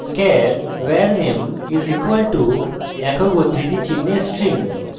char var _ name = একক উদ্ধৃতি চিনহে {s t r i n g}